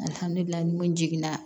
Alihamudulila n jiginna